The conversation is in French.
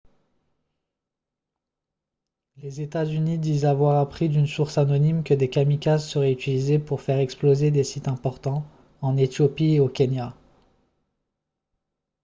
les états-unis disent avoir appris d’une source anonyme que des kamikazes seraient utilisés pour faire exploser des « sites importants » en éthiopie et au kenya